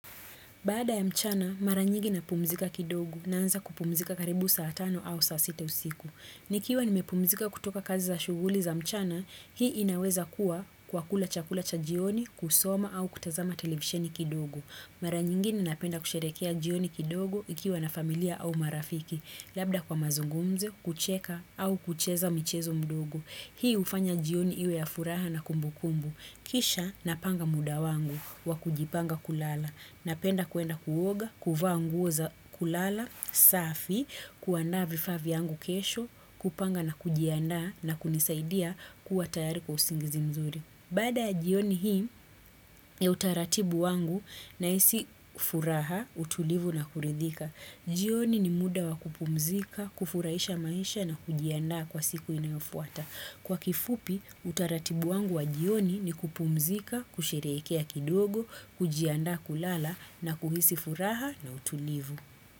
Baada ya mchana, mara nyingi napumzika kidogo naanza kupumzika karibu saa tano au saa sita usiku. Nikiwa nimepumzika kutoka kazi za shuguli za mchana, hii inaweza kuwa kwa kula chakula cha jioni, kusoma au kutazama televisheni kidogo. Mara nyingine napenda kusherehekea jioni kidogo ikiwa na familia au marafiki, labda kwa mazungumzo, kucheka au kucheza michezo mdogo. Hii hufanya jioni iwe ya furaha na kumbukumbu. Kisha napanga muda wangu wa kujipanga kulala. Napenda kuenda kuoga, kuvaa nguo za kulala, safi, kuandaa vifaa vyangu kesho, kupanga na kujiandaa na kunisaidia kuwa tayari kwa usingizi mzuri. Baada ya jioni hii, ya utaratibu wangu nahisi furaha, utulivu na kuridhika. Jioni ni muda wa kupumzika, kufurahisha maisha na kujiandaa kwa siku inayofuata. Kwa kifupi, utaratibu wangu wa jioni ni kupumzika, kusherehekea kidogo, kujianda kulala na kuhisi furaha na utulivu.